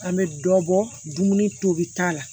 An bɛ dɔbɔ dumuni tobi ta la